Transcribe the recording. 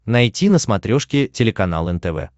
найти на смотрешке телеканал нтв